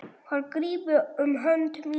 Hann grípur um hönd mína.